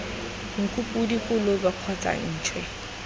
nku podi kolobe kgotsa ntšhwe